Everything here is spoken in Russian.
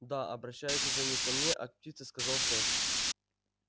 да обращаясь уже не ко мне а к птице сказал шеф